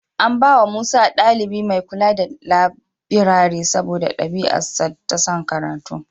An bawa Musa ɗalibi mai kula da labirari saboda ɗabi'arsa ta son karatu.